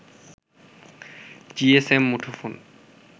GSM মুঠোফোন